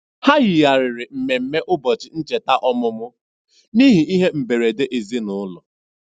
Ha yigharịrị mmemme ụbọchị ncheta ọmụmụ n'ihi ihe mberede ezinụụlọ.